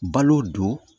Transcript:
Balo don